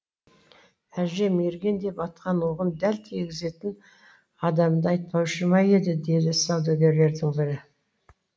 әже мерген деп атқан оғын дәл тигізетін адамды айтпаушы ма еді деді саудагерлердің бірі